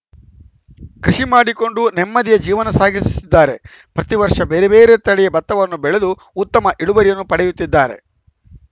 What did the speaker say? ಕೃಷಿ ಮಾಡಿಕೊಂಡು ನೆಮ್ಮದಿಯ ಜೀವನ ಸಾಗಿಸುತ್ತಿದ್ದಾರೆ ಪ್ರತಿ ವರ್ಷ ಬೇರೆ ಬೇರೆ ತಳಿಯ ಬತ್ತವನ್ನು ಬೆಳೆದು ಉತ್ತಮ ಇಳುವರಿಯನ್ನು ಪಡೆಯುತ್ತಿದ್ದಾರೆ